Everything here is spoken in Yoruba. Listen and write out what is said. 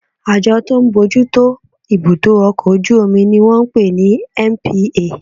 Àjọ tó ń bójú tó ibudọ ọkọ ojú omí ní wọ́n ń pè ní NPA